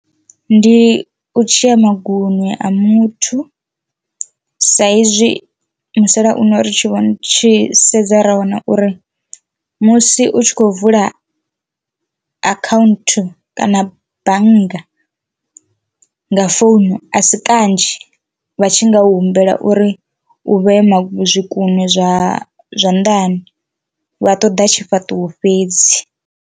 Ndi u dzhiya maguṅwe a muthu sa izwi musalauno ri tshi vho tshi sedza ra wana uri musi u tshi khou vula akhaunthu kana bannga nga founu a si kanzhi vha tshi nga u humbela uri u vhe ma zwikunwe zwa zwanḓani vha ṱoḓa tshifhaṱuwo fhedzi.